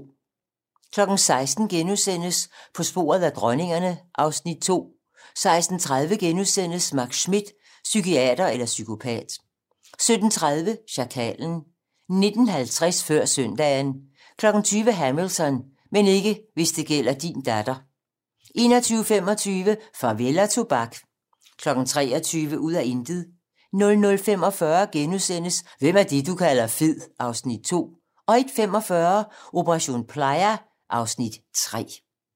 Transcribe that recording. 16:00: På sporet af dronningerne (Afs. 2)* 16:30: Max Schmidt - psykiater eller psykopat * 17:30: Sjakalen 19:50: Før søndagen 20:00: Hamilton: Men ikke hvis det gælder din datter 21:25: Farvel og tobak 23:00: Ud af intet 00:45: Hvem er det, du kalder fed? (Afs. 2)* 01:45: Operation Playa (Afs. 3)